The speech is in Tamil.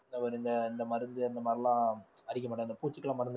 அவரு இந்த மருந்து அந்த மாதிரி எல்லாம் அடிக்கமாட்டாங்க இந்த பூச்சிக்கெல்லாம் மருந்து